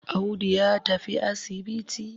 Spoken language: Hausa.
Audu ya tafi asibiti.